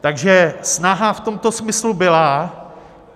Takže snaha v tomto smyslu byla.